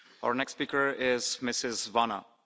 Herr Präsident, liebe Kolleginnen und Kollegen!